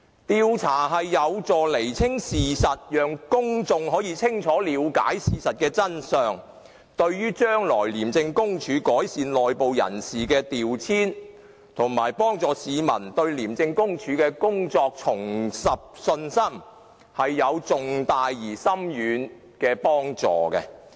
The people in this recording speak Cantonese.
調查有助釐清事實，讓公眾清楚了解事實的真相，對於將來廉署改善內部人士的調遷，以及讓市民重拾對廉署的信心，都是有重大而深遠的幫助。